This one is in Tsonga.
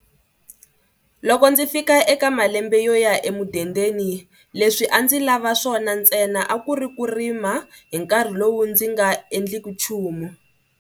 Loko ndzi fika eka malembe yo ya emudendeni leswi a ndzi lava swona ntsena a ku ri ku rima hi nkarhi lowu ndzi nga endleki nchumu